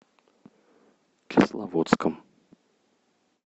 кисловодском